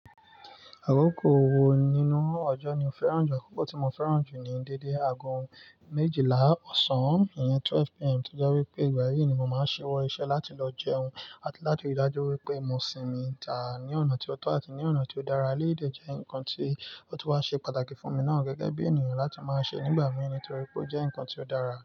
Àkókò wo nínú ọjọ́ ni o fẹ́ràn jù? Àkókò tí mo fẹ́ràn jù ni dédé aago méjìlá ọ̀sán, ìyẹn twelve PM, toje wipé ìgbà yí ni màá ṣi wọ iṣẹ́ láti lọ jẹun àti láti rí dájú wípé mo sinmi, tà á ní ọ̀nà tó tọ́ àti ní ọ̀nà tí ó dára. Éleyìi dé jẹ́ nǹkan tí ó tun wá ṣe pàtàkì fún mi náà gẹ́gẹ́ bí ènìyàn láti máa ṣe nígbà mí nítorí pé ó jẹ́ nǹkan tí ó dára.